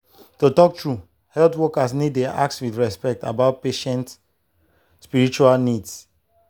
to talk true health workers need dey ask with respect about patient spiritual needs.